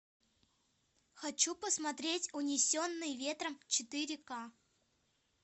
хочу посмотреть унесенные ветром четыре ка